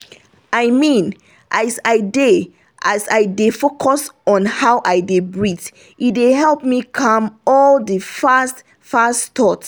i mean as i dey as i dey focus on how i dey breathe e dey help calm all the fast-fast thought